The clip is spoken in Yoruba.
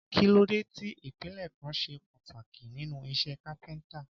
Kí ló dé tí ìpele kan ṣe pàtàkì nínú iṣẹ́ kápẹ́ntà?